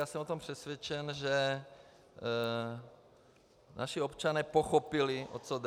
A jsem o tom přesvědčen, že naši občané pochopili, o co jde.